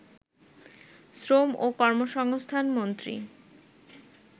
“ শ্রম ও কর্মসংস্থান মন্ত্রী